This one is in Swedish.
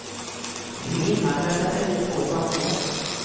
Vi limmar för att sätta ihop två saker.